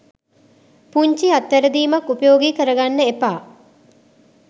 පුංචි අත් වැරදීමක් උපයෝගී කරගන්න එපා.